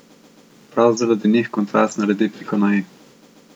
Prav zaradi njih kontrast naredi piko na i.